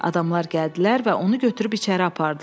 Adamlar gəldilər və onu götürüb içəri apardılar.